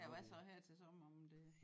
Ja hvad så her til sommer om det